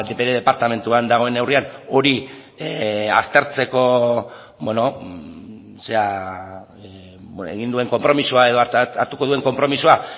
bere departamentuan dagoen neurrian hori aztertzeko egin duen konpromisoa edo hartuko duen konpromisoa